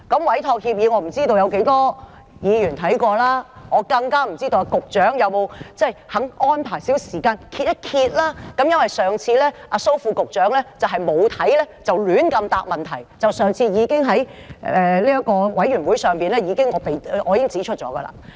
我不知道有多少議員曾看過委託協議，更不清楚局長是否願意安排少許時間翻一翻，因為上次蘇副局長沒有看過便胡亂回答問題，這是我上次在小組委員會已經指出的。